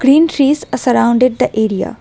Green trees are surrounded the area.